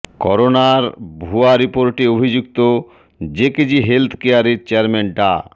করোনার ভুয়া রিপোর্টে অভিযুক্ত জেকেজি হেলথ কেয়ারের চেয়ারম্যান ডা